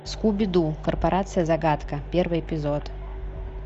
скуби ду корпорация загадка первый эпизод